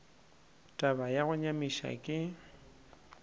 taba ya go nyamiša ke